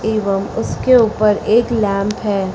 एवं उसके ऊपर एक लैंप है।